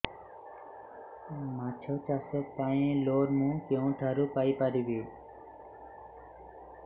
ମାଛ ଚାଷ ପାଇଁ ଲୋନ୍ ମୁଁ କେଉଁଠାରୁ ପାଇପାରିବି